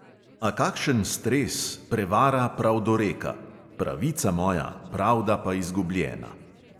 A kakšen stres, prevara pravdoreka: pravica moja, pravda pa izgubljena!